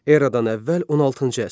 Eradan əvvəl 16-cı əsr.